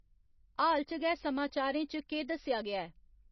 हाल च गै समाचारें च केह् दस्सेआ गेआ ऐ